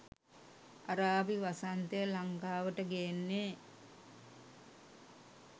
අරාබි වසන්තය ලංකාවට ගේන්නේ